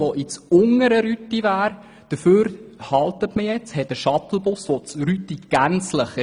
Mit diesem Projekt wird auf den Kehrtunnel verzichtet, der zur unteren Rüti geführt hätte.